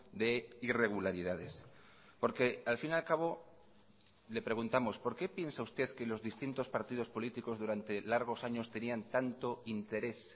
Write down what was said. de irregularidades porque al fin y al cabo le preguntamos por qué piensa usted que los distintos partidos políticos durante largos años tenían tanto interés